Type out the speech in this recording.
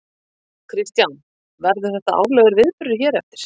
Kristján: Verður þetta árlegur viðburður hér eftir?